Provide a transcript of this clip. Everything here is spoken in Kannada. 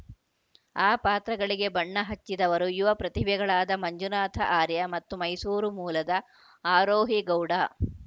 ಆ ಪಾತ್ರಗಳಿಗೆ ಬಣ್ಣ ಹಚ್ಚಿದವರು ಯುವ ಪ್ರತಿಭೆಗಳಾದ ಮಂಜುನಾಥ ಆರ್ಯ ಮತ್ತು ಮೈಸೂರು ಮೂಲದ ಆರೋಹಿ ಗೌಡ